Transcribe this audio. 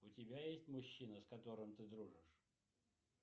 у тебя есть мужчина с которым ты дружишь